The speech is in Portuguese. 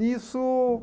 Nisso,